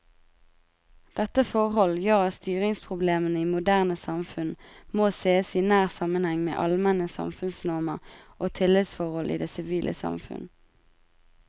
Dette forhold gjør at styringsproblemene i moderne samfunn må sees i nær sammenheng med allmenne samfunnsnormer og tillitsforhold i det sivile samfunn.